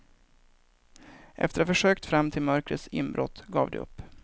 Efter att ha försökt fram till mörkrets inbrott, gav de upp.